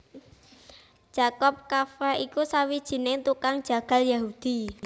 Jakob Kafka iku sawijining tukang jagal Yahudi